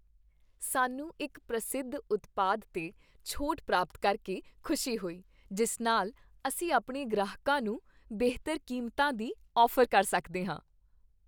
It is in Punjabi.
ਸਾਨੂੰ ਇੱਕ ਪ੍ਰਸਿੱਧ ਉਤਪਾਦ 'ਤੇ ਛੋਟ ਪ੍ਰਾਪਤ ਕਰਕੇ ਖੁਸ਼ੀ ਹੋਈ, ਜਿਸ ਨਾਲ ਅਸੀਂ ਆਪਣੇ ਗ੍ਰਾਹਕਾਂ ਨੂੰ ਬਿਹਤਰ ਕੀਮਤਾਂ ਦੀ ਔਫ਼ਰ ਕਰ ਸਕਦੇ ਹਾਂ।